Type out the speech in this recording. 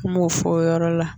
Kumaw fɔ o yɔrɔ la